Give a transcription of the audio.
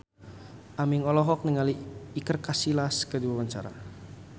Aming olohok ningali Iker Casillas keur diwawancara